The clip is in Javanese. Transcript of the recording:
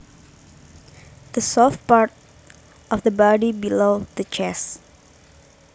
The soft part of the body below the chest